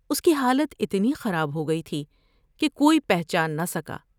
اس کی حالت اتنی خراب ہوگئی تھی کہ کوئی پہچان نہ سکا ۔